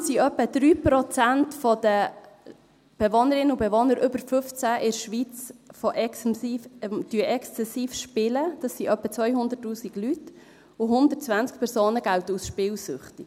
Insgesamt spielen etwa 3 Prozent der Bewohnerinnen und Bewohner über 15 in der Schweiz exzessiv, das sind etwa 200’000 Leute, und 120 Personen gelten als spielsüchtig.